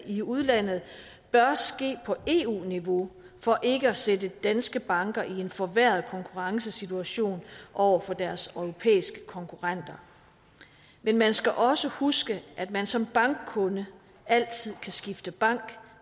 i udlandet bør ske på eu niveau for ikke at sætte danske banker i en forværret konkurrencesituation over for deres europæiske konkurrenter men man skal også huske at man som bankkunde altid kan skifte bank